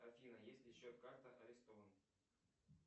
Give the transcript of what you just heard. афина если счет карта арестована